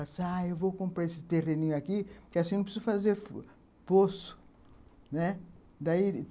ah... eu vou comprar esse terreninho aqui porque assim não preciso fazer poço, né? daí